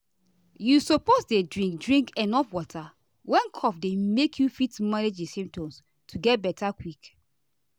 you suppose dey drink drink enuf water when cough dey make you fit manage di symptoms to get beta quick.